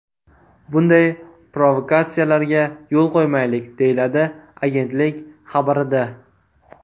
Bunday provokatsiyalarga yo‘l qo‘ymaylik”, deyiladi agentlik xabarida.